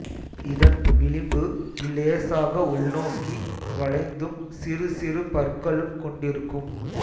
இதன் விளிம்பு இலேசாக உள்நோக்கி வளைந்தும் சிறு சிறு பற்களும் கொண்டிருக்கும்